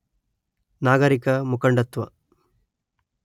ನಾಗರಿಕ ಮುಖಂಡತ್ವ